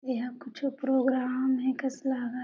इहा कुछो प्रोग्राम हे कस लागत हे।